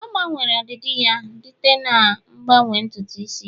ọ gbanwere ọdịdị ya dite na-agbanwe ntutu isi ya